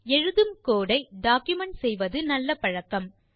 எழுதும் கோடு ஐ டாக்குமென்ட் செய்வது நல்ல பழக்கம்